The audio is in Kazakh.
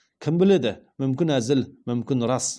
кім біледі мүмкін әзіл мүмкін рас